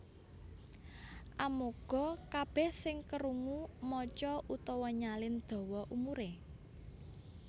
Amoga kabèh sing kerungu maca utawa nyalin dawa umuré